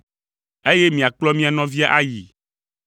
eye miakplɔ mia nɔvia ayii!